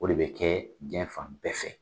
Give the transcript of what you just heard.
O de bɛ kɛ cɛn fan bɛɛ fɛ